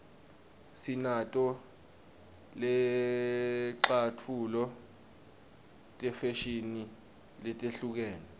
sinato netlcatfulo tefashini letehlukene